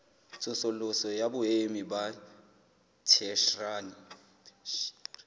tsosoloso ya boemo ba theshiari